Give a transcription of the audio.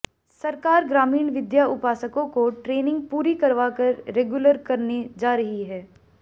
सरकार ग्रामीण विद्या उपासकों को ट्रेनिंग पूरी करवा कर रेगुलर करने जा रही है